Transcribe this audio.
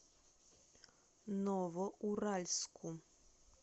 новоуральску